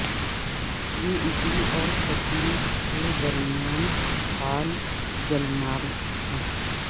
یہ اٹلی اور سسلی کے درمیان فعال جلمارگ تھا